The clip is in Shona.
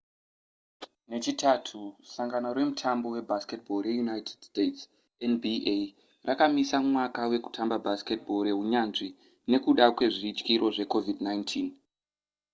nechitatu sangano remutambo webasketball reunited states nba rakamisa mwaka wekutamba basketball rehunyanzvi nekuda kwezvityiro zvecovid-19